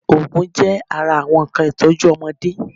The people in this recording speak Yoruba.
Oògùn jẹ́ ara àwọn nnkan ìtọ́jú ọmọdé